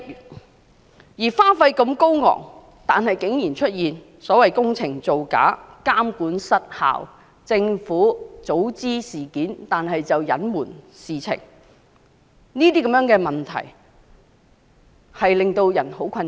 工程花費如此高昂，卻竟然出現工程造假、監管失效，政府早悉事件卻加以隱瞞等問題，令人感到十分困擾。